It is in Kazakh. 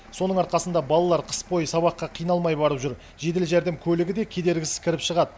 соның арқасында балалар қыс бойы сабаққа қиналмай барып жүр жедел жәрдем көлігі де кедергісіз кіріп шығады